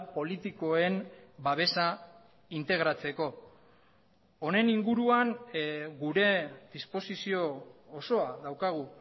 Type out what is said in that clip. politikoen babesa integratzeko honen inguruan gure disposizio osoa daukagu